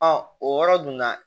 o yɔrɔ dunna